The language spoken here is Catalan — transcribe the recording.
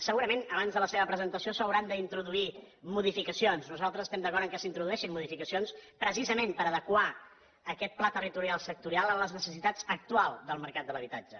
segurament abans de la seva presentació s’hi hauran d’introduir modificacions nosaltres estem d’acord que s’hi introdueixin modificacions precisament per adequar aquest pla territorial sectorial a les necessitats actuals del mercat de l’habitatge